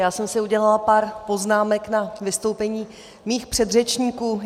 Já jsem si udělala pár poznámek na vystoupení mých předřečníků.